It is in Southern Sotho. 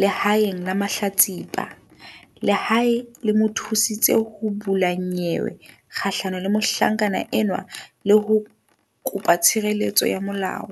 lehaeng la mahlatsipa. Lehae le mo thusitse ho bula nyewe kgahlano le mohlankana enwa le ho kopa tshireletso ya molao.